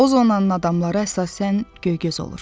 O zonanın adamları əsasən göygöz olur.